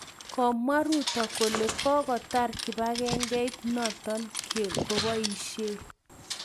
Komwa Ruto kole kokotar kibangengeit noto koboishei